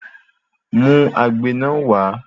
Mú agbe náà wà